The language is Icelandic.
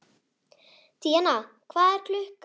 Díanna, hvað er klukkan?